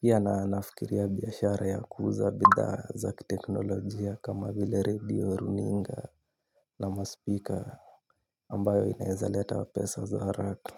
pia na nafikiria biashara ya kuuza bidhaa zaki teknolojia kama vile radio runinga nama speaker ambayo inaeza leta wa pesa za haraka.